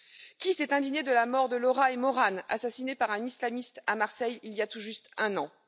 Qui s'est indigné de la mort de Laura et Mauranne, assassinées par un islamiste à Marseille, il y a tout juste un an?